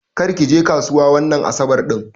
Ƙar ki je kasuwa wanga asaɓar din.